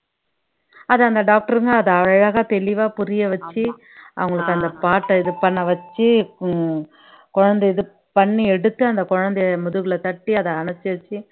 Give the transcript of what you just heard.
அத அந்த டாக்டருங்க அத அழகா தெளிவா புரிய வச்சு அவங்களுக்கு அந்த part அ இது பண்ண வச்சு குழந்தை இது பண்ணி எடுத்து அந்த குழந்தையை முதுகுல தட்டி அத அணைச்சு வச்சு